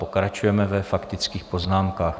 Pokračujeme ve faktických poznámkách.